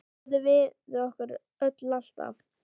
Góður við okkur öll, alltaf.